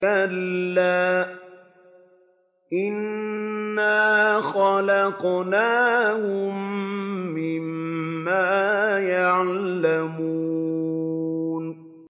كَلَّا ۖ إِنَّا خَلَقْنَاهُم مِّمَّا يَعْلَمُونَ